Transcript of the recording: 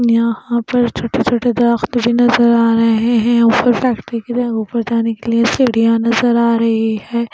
यहां पर छोटे-छोटे दरख्त भी नजर आ रहे हैं ऊपर फैक्ट्री की जगह पर जाने के लिए सड़ियां नजर आ रही है।